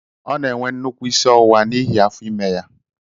Ọ na-enwe nnukwu isi ọwụwa n'ihi afọ ime ya.